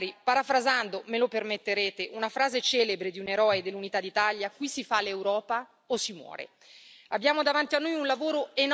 Ecco, Presidente von der Leyen, Commissari, parafrasando me lo permetterete una frase celebre di un eroe dell'Unità d'Italia, qui si fa l'Europa o si muore.